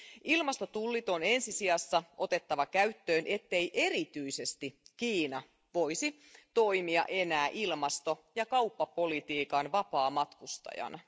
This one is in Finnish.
Ilmastotullit on ensi sijassa otettava käyttöön, ettei erityisesti Kiina voisi toimia enää ilmasto ja kauppapolitiikan vapaamatkustajana.